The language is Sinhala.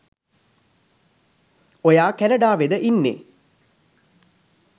ඔයා කැනඩාවෙද ඉන්නෙ